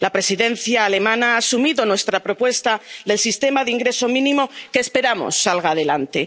La Presidencia alemana ha asumido nuestra propuesta del sistema de ingreso mínimo que esperamos salga adelante.